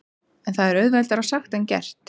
En það er auðveldara sagt en gert.